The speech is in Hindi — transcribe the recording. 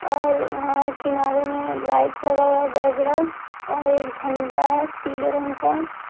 ओर यहाँ किनारे मे लाइट लगा हुआ है बड़ा बड़ा ओर झण्डा है पीले रंग का।